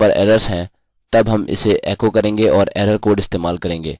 यदि यहाँ पर एरर्सerrors हैं तब हम इसे एकोecho करेंगे और एररerror कोड इस्तेमाल करेंगे